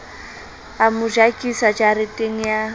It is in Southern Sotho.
a mo jakisa jareteng ya